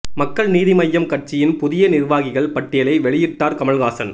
மக்கள் நீதி மய்யம் கட்சியின் புதிய நிர்வாகிகள் பட்டியலை வெளியிட்டார் கமல்ஹாசன்